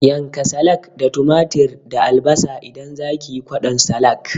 Yanka salak da tumatir da albasa idan zakiyi kwaɗon salak